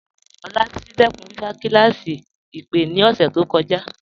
Olabisi dẹkun wíwá sí awọn kílásí ìpè ni ọṣẹ to kọja.